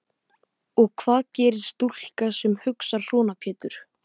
Og hvað gerir stúlka sem hugsar svona Pétur?